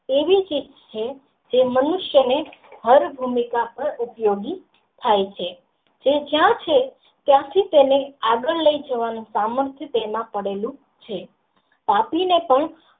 એવી ચિપ્સ છે જે મનુષ્યો ને હર ભૂમિકા ઉપયોગી થાઈ છે તે જ્યાં છે ત્યાંથી તેને આગળ લઇ જવાનો સામર્થ તેમાં પડેલું છે પાપી ને પણ.